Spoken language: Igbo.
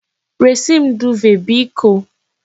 Resi m duuve biko!